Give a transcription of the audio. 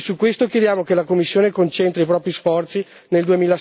E su questo chiediamo che la Commissione concentri i propri sforzi nel